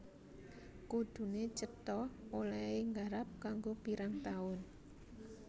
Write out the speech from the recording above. Kuduné cetha olèhé garap kanggo pirang taun